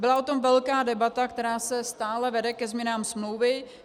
Byla o tom velká debata, která se stále vede ke změnám smlouvy.